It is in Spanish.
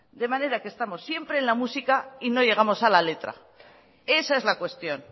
de manera que estamos siempre en la música y no llegamos a la letra esa es la cuestión